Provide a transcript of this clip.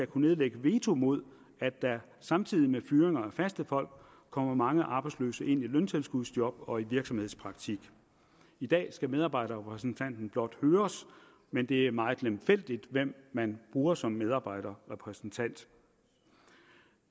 kunne nedlægge veto mod at der samtidig med fyringen af faste folk kommer mange arbejdsløse ind i løntilskudsjob og virksomhedspraktik i dag skal medarbejderrepræsentanten blot høres men det er meget lemfældigt hvem man bruger som medarbejderrepræsentant